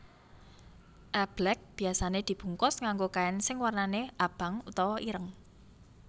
Eblek biasane dibungkus nganggo kain sing warnane abang utawa ireng